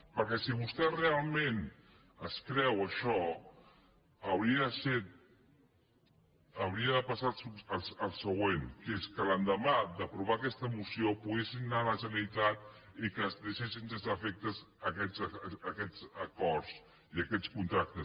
perquè si vostè realment es creu això hauria de passar el següent que l’endemà d’aprovar aquesta moció poguéssim anar a la generalitat i que es deixessin sense efecte aquests acords i aquests contractes